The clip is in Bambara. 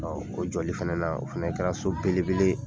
o jɔli fɛnɛ na, o fɛnɛ kɛra so belebele ye.